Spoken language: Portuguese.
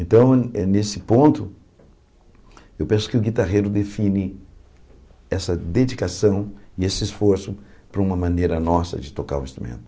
Então, eh nesse ponto, eu penso que o guitarrero define essa dedicação e esse esforço para uma maneira nossa de tocar o instrumento.